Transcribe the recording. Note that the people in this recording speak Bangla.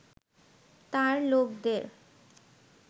তাঁর লোকদের